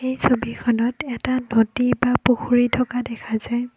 এই ছবিখনত এটা নদী বা পুখুৰীৰ থকা দেখা যায়।